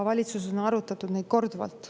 Valitsuses on seda arutatud korduvalt.